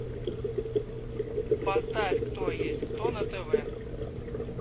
поставь кто есть кто на тв